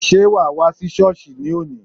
Sé wà á wá sí Sọ́ọ̀sì ní òní?